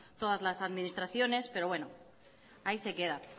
todas las administraciones pero bueno ahí se queda